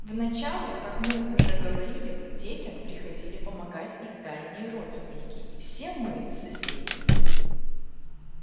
вначале как мы уже говорили к детям приходили помогать их дальние родственники и все мы соседи